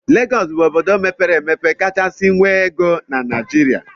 Legọs bụ obodo mepere emepe kachasị nwee ego na Naijiria.